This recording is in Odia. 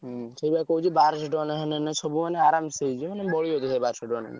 ହଁ ସେଇବ କହୁଛି ବାରଶହ ଟଙ୍କା ନେଲେ ସବୁ ମାନେ ଆରମ ସେ ହେଇଯିବ ମାନେ ବଢିଆ ହବ ବାରଶହ ଟଙ୍କା ନେଲେ।